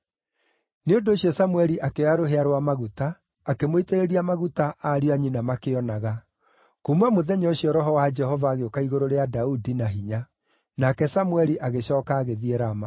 Nĩ ũndũ ũcio Samũeli akĩoya rũhĩa rwa maguta akĩmũitĩrĩria maguta ariũ a nyina makĩonaga; kuuma mũthenya ũcio Roho wa Jehova agĩũka igũrũ rĩa Daudi na hinya. Nake Samũeli agĩcooka agĩthiĩ Rama.